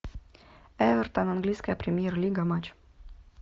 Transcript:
эвертон английская премьер лига матч